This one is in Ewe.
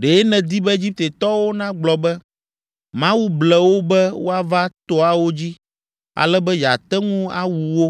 Ɖe nèdi be Egiptetɔwo nagblɔ be, ‘Mawu ble wo be woava toawo dzi ale be yeate ŋu awu wo,